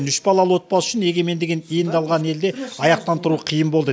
үш балалы отбасы үшін егемендігін енді алған елде аяқтан тұру қиын болды